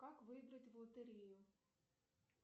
как выиграть в лотерею